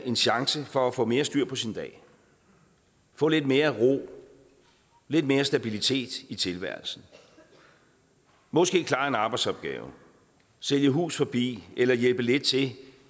en chance for at få mere styr på sin dag få lidt mere ro lidt mere stabilitet i tilværelsen måske klare en arbejdsopgave sælge hus forbi eller hjælpe lidt til